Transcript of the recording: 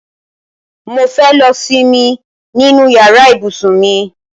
Mo fẹ́ lọ simi nínú yàrá ibùsùn mi